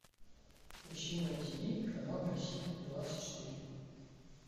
ищи на тв канал россия двадцать четыре